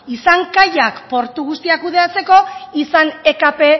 izan kaiak portu guztia kudeatzeko izan ekp